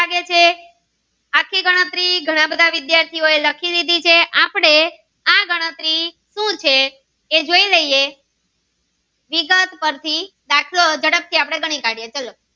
થી ઘણા બધા વિદ્યાર્થી એ લખી દીધી છે આપડે આ ગણતરી સુ છે એ જોઈ લઈએ વિગત પરથી દાખલો ઝડપ થી આપડે ગણી કઢીએ ચલો.